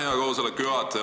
Aitäh, hea koosoleku juhataja!